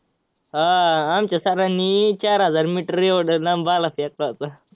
हा आह आमच्या sir नी चार हजार मीटर एवढा लांब भाला फेकला होता.